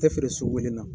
Tɛ feere sugu kelen na